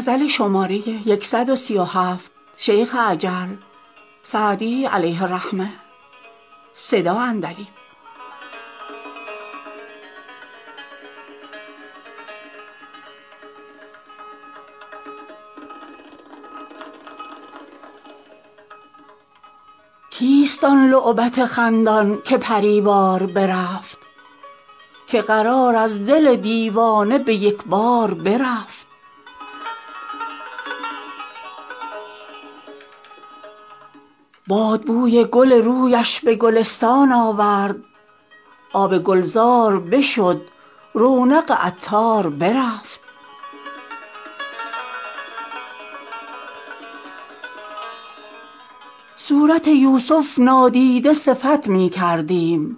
کیست آن لعبت خندان که پری وار برفت که قرار از دل دیوانه به یک بار برفت باد بوی گل رویش به گلستان آورد آب گلزار بشد رونق عطار برفت صورت یوسف نادیده صفت می کردیم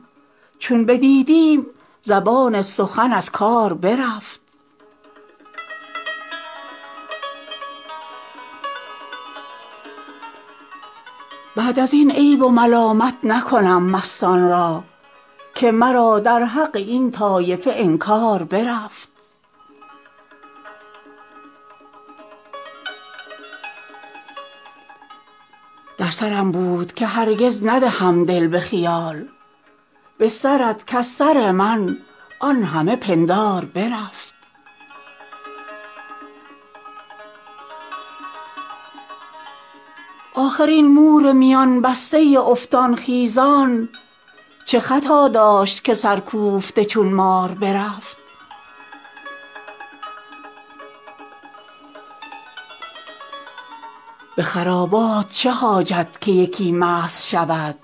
چون بدیدیم زبان سخن از کار برفت بعد از این عیب و ملامت نکنم مستان را که مرا در حق این طایفه انکار برفت در سرم بود که هرگز ندهم دل به خیال به سرت کز سر من آن همه پندار برفت آخر این مور میان بسته افتان خیزان چه خطا داشت که سرکوفته چون مار برفت به خرابات چه حاجت که یکی مست شود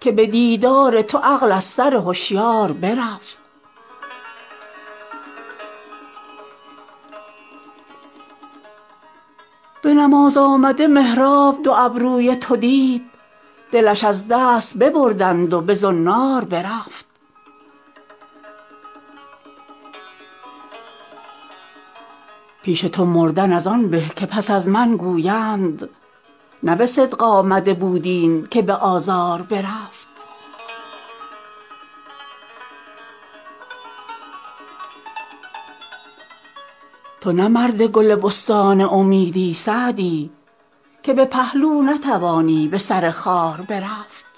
که به دیدار تو عقل از سر هشیار برفت به نماز آمده محراب دو ابروی تو دید دلش از دست ببردند و به زنار برفت پیش تو مردن از آن به که پس از من گویند نه به صدق آمده بود این که به آزار برفت تو نه مرد گل بستان امیدی سعدی که به پهلو نتوانی به سر خار برفت